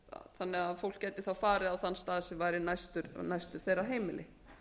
þannig að fólk gæti þá farið á þann stað sem væri næstur þeirra heimili